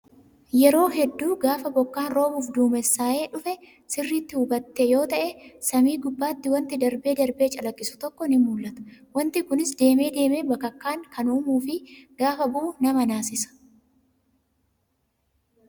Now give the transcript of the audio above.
Yeroo hedduu gaafa bokkaan roobuuf duumessaa'ee dhufe sirriitti hubatte yoo ta'e, samii gubbaatti wanti darbe darbee calaqqisu tokko ni mul'ata. Wanti kunis deemee deemee bakakkaa kan uumuu fi gaafa bu'u nama naasisa.